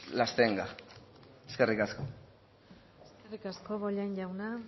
las tenga eskerrik asko eskerrik asko bollain jauna